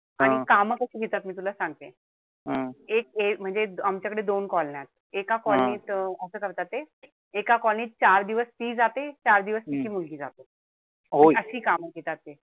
आणि कमी तशी घेतात. मी तुला सांगते. एक हे म्हणजे आमच्याकडे दोन colony या. एका colony त असं करतात ते. एका colony त चार दिवस ती जाते. चार दिवस तिची मुलगी जाते. अशी कामं घेतात ते.